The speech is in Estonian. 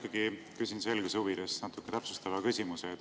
Ma ikkagi küsin selguse huvides natuke täpsustava küsimuse.